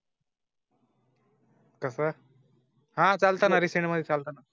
कसर. हां, चालताना रीसेंट मध्ये